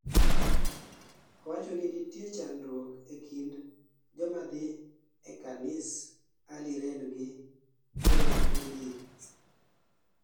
owachoni nitie chandruok e kind jomadhii e kanis Early Rain gi Ronggulili